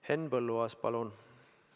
Henn Põlluaas, palun!